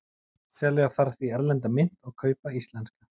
Selja þarf því erlenda mynt og kaupa íslenska.